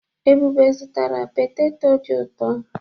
Ebube zụtara petetọ dị utọ.